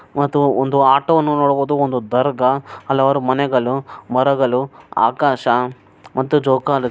ಮತ್ತು ಒಂದು ಆಟೋನೂ ನೋಡ್ಬೋದು ಒಂದು ದರ್ಗಾ ಅಲ್ಲ್ ಅವರ್ ಮನೆಗಳು ಮರಗಳು ಆಕಾಶ ಮತ್ತು ಜೋಕಾಲಿ --